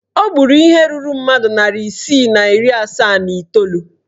O gburu ihe ruru mmadụ narị isii na iri asaa na iteolu.